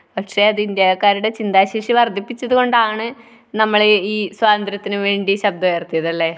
പക്ഷെ അത് ഇന്ത്യക്കാരുടെ ചിന്താശേഷി വർദ്ധിപ്പിച്ചതുകൊണ്ടാണ് നമ്മൾ ഈ സ്വാതന്ത്ര്യത്തിനുവേണ്ടി ശബ്ദമുയർത്തിയത്. അല്ലെ?